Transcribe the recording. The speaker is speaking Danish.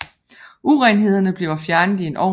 Urenhederne bliver fjernet i en ovn